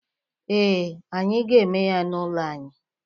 Ee, anyị ga-eme ya n'ụlọ anyị.